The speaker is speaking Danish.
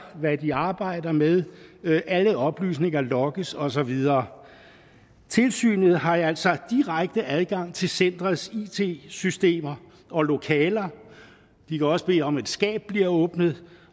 hvad de arbejder med alle oplysninger logges og så videre tilsynet har altså direkte adgang til centerets it systemer og lokaler de kan også bede om at et skab bliver åbnet